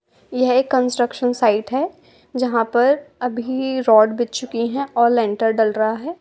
यह एक construction site है जहां अभी रोड बिछ चुकी है और लेंटर डल रहा है।